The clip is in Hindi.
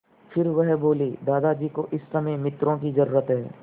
फिर वह बोले दादाजी को इस समय मित्रों की ज़रूरत है